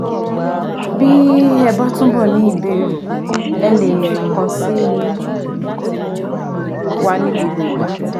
Bí ẹ bá túbọ̀ ní ìbéèrè ẹ lè kàn sí wa ní gbogbo ìgbà